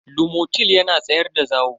lomotil yana tsayar da zawo.